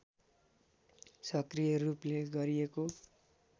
सक्रिय रूपले गरिएको